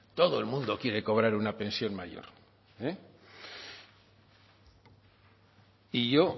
todo el mundo quiere cobrar una pensión mayor y yo